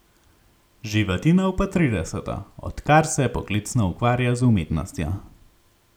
Živadinov pa trideseto, odkar se poklicno ukvarja z umetnostjo.